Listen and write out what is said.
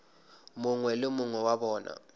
mongwe le mongwe wa bona